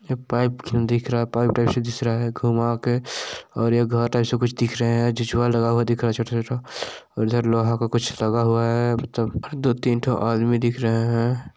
ये पाइप दिख रहा है पाइप ऐसे घुमा के और ये घर जैसा दिख रहा है ऐसा कुछ दिख रहा झूला लगा है छोटा छोटा इधर लोहा का कुछ लगा हुआ है दो तीन ठो आदमी दिख रहे है।